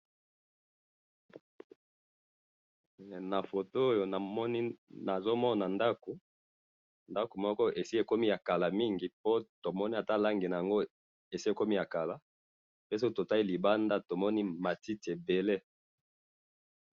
na photo oyo nazo mona ndaku ndaku moko esi ekoma ya kala mingi po tomoni ata langi nayango esi ekomi yaka soki tomoni libandi toomoni matiti ebele